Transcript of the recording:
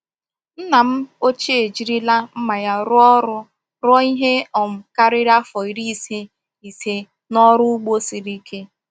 Nna m ochie ejirila mma ya rụọ ọrụ ruo ihe um karịrị afọ iri ise ise n’ọrụ ugbo siri ike.